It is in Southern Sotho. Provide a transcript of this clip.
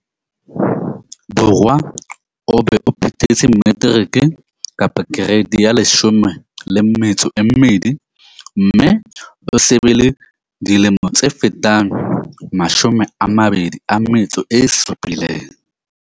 Borwa, o be o phethetse materiki, kereiti ya 12 mme o se be le dilemo tse fetang 27.